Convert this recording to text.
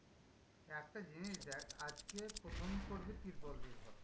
একটা জিনিস দেখ আজকে প্রথম পর্বে তুই বললি এ কথা।